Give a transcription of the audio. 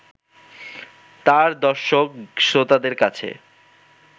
তাঁর দর্শক-শ্রোতাদের কাছে